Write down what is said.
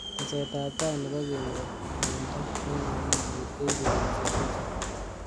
Teset ab tai nebo kenyor mnyeindo eng akilit koibei betushek. chechang.